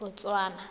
botswana